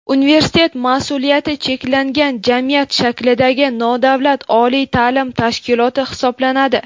Universitet mas’uliyati cheklangan jamiyat shaklidagi nodavlat oliy ta’lim tashkiloti hisoblanadi.